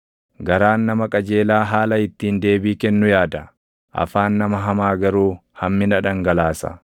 Garaan nama qajeelaa haala ittiin deebii kennu yaada; afaan nama hamaa garuu hammina dhangalaasa.